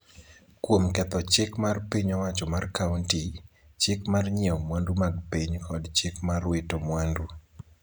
kuom ketho chik mar piny owacho mar kaonti, chik mar nyieo mwandu mag piny kod chik mar wito mwandu